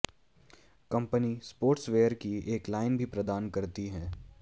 company sportswear की एक line भी प्रदान करती है